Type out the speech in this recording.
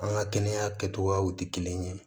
An ka kɛnɛya kɛcogoyaw tɛ kelen ye